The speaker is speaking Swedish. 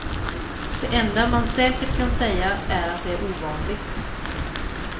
Det enda man säkert kan säga är att det är ovanligt.